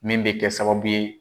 Min bɛ kɛ sababu ye